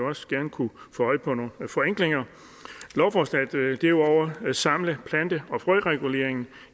også gerne kunne få øje på nogle forenklinger lovforslaget vil derudover samle plante og frøreguleringen